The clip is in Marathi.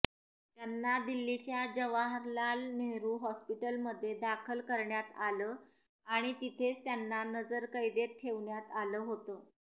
त्यांना दिल्लीच्या जवाहरलाल नेहरू हॉस्पिटलमध्ये दाखल करण्यात आलं आणि तिथेच त्यांना नजरकैदेत ठेवण्यात आलं होतं